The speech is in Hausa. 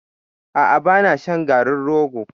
A'a ba na shan garin rogo.